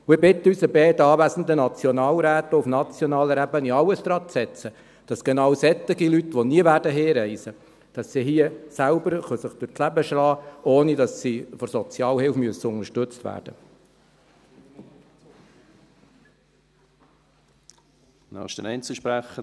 Wir bitten unsere beiden anwesenden Nationalräte, auf nationaler Ebene alles daranzusetzen, damit genau solche Leute, die nie nach Hause reisen werden, sich hier selbst durch das Leben schlagen können, ohne dass sie von der Sozialhilfe unterstützt werden müssen.